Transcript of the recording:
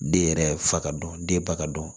Den yɛrɛ fa ka dɔn den ba ka dɔn